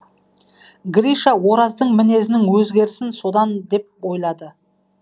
гриша ораздың мінезінің өзгерісін содан деп ойлады